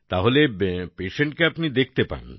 তাহলে patientকে আপনিও দেখতে পান